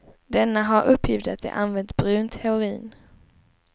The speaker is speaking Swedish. Denne har uppgivit att de använt brunt heroin.